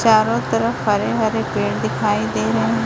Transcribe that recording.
चारों तरफ हरे हरे पेड़ दिखाई दे रहे हैं।